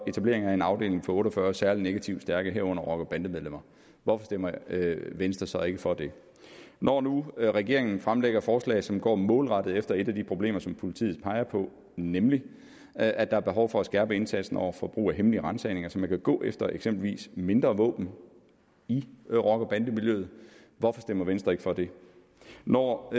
etableret en afdeling for otte og fyrre særlig negativt stærke fanger herunder rocker bande medlemmer hvorfor stemmer venstre så ikke for det når nu regeringen fremlægger forslag som går målrettet efter et af de problemer som politiet peger på nemlig at der er behov for at skærpe indsatsen over for brug af hemmelige ransagninger så man kan gå efter eksempelvis mindre våben i rocker bande miljøet hvorfor stemmer venstre ikke for det når